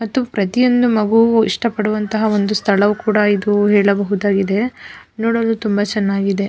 ಮತ್ತು ಪ್ರತಿಯೊಂದು ಮಗುವು ಕೂಡ ಇಷ್ಟ ಪಡುವಂತಹ ಸ್ಥಳವು ಕೂಡ ಇದು ಎಂದು ಹೇಳಬಹುದಾಗಿದೆ ನೋಡಲು ತುಂಬ ಚೆನ್ನಾಗಿದೆ.